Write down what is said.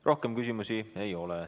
Rohkem küsimusi ei ole.